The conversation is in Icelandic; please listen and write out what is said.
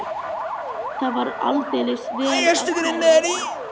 Það var aldeilis vel af sér vikið.